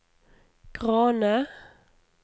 Grane